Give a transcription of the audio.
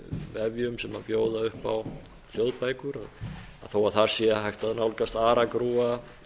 vefjum sem bjóða upp á hljóðbækur að þó að þar sé hægt að nálgast aragrúa